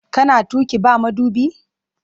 Kana tuƙi ba madubi?